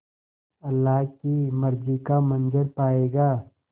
अल्लाह की मर्ज़ी का मंज़र पायेगा